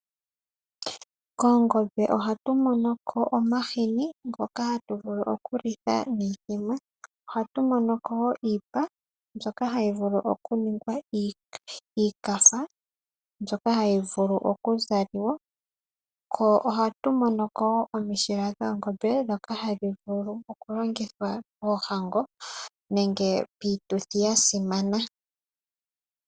Koongobe ohatu monoko omahini ngoka hatu vulu okulitha iithima, ohatu monoko woo iipa nzoka hayi vulu okuningwa iikafa mbyoka hayi vulu oku zaliwa. Ko ohatu monoko woo omishila dhoongobe dhoka hadhi vulu oku longithwa moonhango nenge miituthi ya simana.